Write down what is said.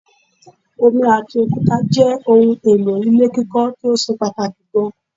Omi ati òkúta jẹ́ ohun èlò ilé kíkọ́ tíó ṣe pàtàkì gan